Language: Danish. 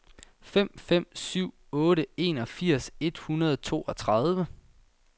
fem fem syv otte enogfirs et hundrede og toogtredive